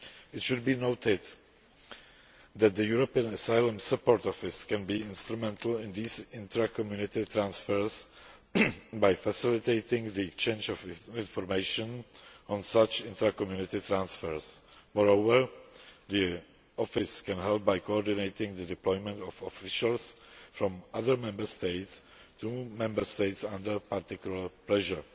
It should be noted that the European Asylum Support Office can be instrumental in these intra Community transfers by facilitating the exchange of information on such transfers. Moreover, the Office can help by coordinating the deployment of officials from other Member States to Member States under particular pressure.